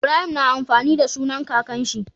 Ibrahim na amfani da sunan kakan shi